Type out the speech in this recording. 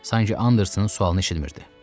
Sanki Andersonun sualını eşitmir.